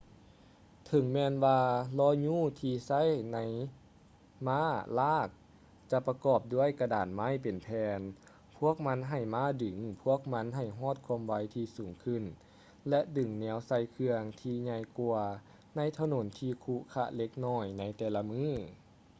ເຖິງແມ່ນວ່າລໍ້ຍູ້ທີ່ໃຊ້ມ້າລາກຈະປະກອບດ້ວຍກະດານໄມ້ເປັນແຜ່ນ ພວກມັນໃຫ້ມ້າດຶງພວກມັນໃຫ້ຮອດຄວາມໄວທີ່ສູງຂຶ້ນ ແລະ ດຶງແນວໃສ່ເຄື່ອງທີ່່ໃຫຍ່ກວ່າໃນຖະໜົນທີ່ຂຸຂະເລັກນ້ອຍໃນແຕ່ລະມື້